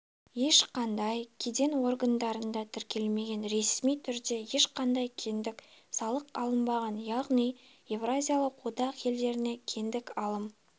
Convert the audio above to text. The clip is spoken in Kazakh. ешқандай кеден органдарында тіркелмеген ресми түрде ешқандай кедендік салық алынбаған яғни еуразиялық одақ елдеріне кедендік алым